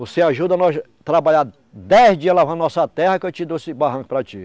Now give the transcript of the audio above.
Você ajuda nós trabalhar dez dias lavando a nossa terra, que eu te dou esse barranco para ti.